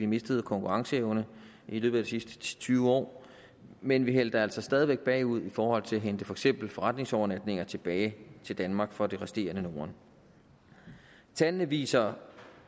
mistet i konkurrenceevne i løbet af de sidste ti til tyve år men vi halter altså stadig væk bagud i forhold til at hente for eksempel forretningsovernatninger tilbage til danmark fra det resterende norden tallene viser